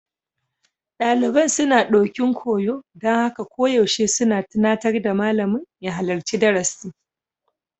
Daliban sun ɗokin koyo, don haka koyaushe suna tunatar da malamin ya halarci darasi.